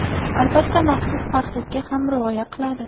Albatta, maxsus parhezga ham rioya qiladi.